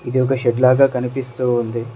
ఇది ఒక షెడ్ లాగా కనిపిస్తూ ఉంది.